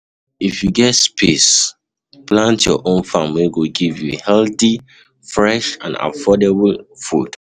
if you get space, plant your own farm wey go give you healthy, fresh and affordable food